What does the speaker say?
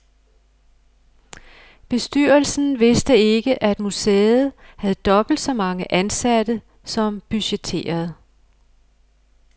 Bestyrelsen vidste ikke at museet havde dobbelt så mange ansatte som budgetteret.